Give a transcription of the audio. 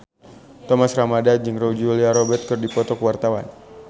Thomas Ramdhan jeung Julia Robert keur dipoto ku wartawan